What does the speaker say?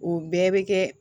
O bɛɛ bɛ kɛ